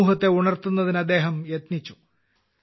സമൂഹത്തിനെ ഉണർത്തുന്നതിന് അദ്ദേഹം യത്നിച്ചു